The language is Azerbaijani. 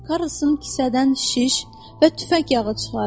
Karlson kisədən şiş və tüfəng yağı çıxardı.